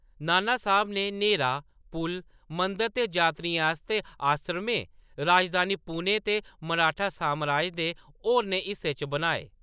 नानासाहेब ने नैह्‌रां, पुल, मंदर ते यात्रियें आस्तै आसरमे, राजधानी पुणे ते मराठा सामराज दे होरनें हिस्सें च बनाए।